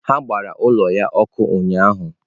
Ha gbara ụlọ ya ọkụ ụnyahụ.